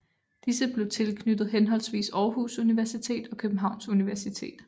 Disse blev tilknyttet henholdsvis Aarhus Universitet og Københavns Universitet